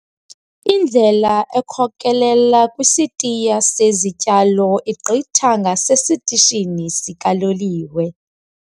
Indlela ekhokelela kwisitiya sezityalo igqitha ngasesitishini sikaloliwe.